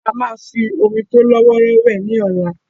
A máa fi omi tó lọ́wọ́rọ́ wẹ̀ ní ọ̀la.